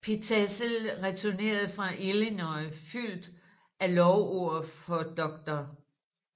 Pitezel returnerede fra Illinois fyldt af lovord for dr